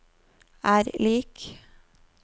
er lik